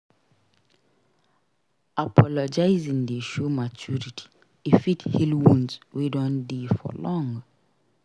Apologizing dey show maturity; e fit heal wounds wey don dey for long.